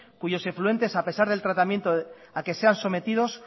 cuyos efluentes a pesar del tratamiento a que se han sometidos